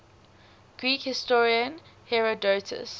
greek historian herodotus